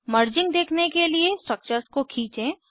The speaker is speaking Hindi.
मर्जिंग देखने के लिए स्ट्रक्चर्स को खींचें